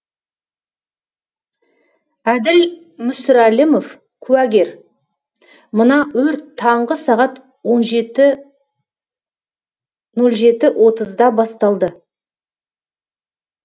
әділ мүсірәлімов куәгер мына өрт таңғы сағат нөл жеті отызда басталды